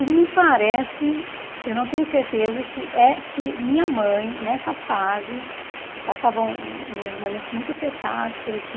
E me parece, eu não tenho certeza, que eh que minha mãe, nessa fase, que passavam uns momentos muito apertados por aqui...